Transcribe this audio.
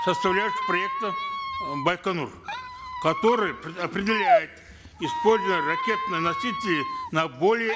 составляющих проекта э байконур которые определяют использование ракетоносителей на более